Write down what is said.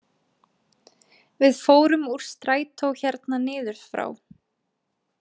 Við fórum úr strætó hérna niður frá!